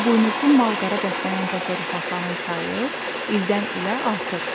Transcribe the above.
İribuynuzlu mal-qara bəslənən təsərrüfatların sayı ildən-ilə artır.